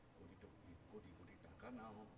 টাকা নাও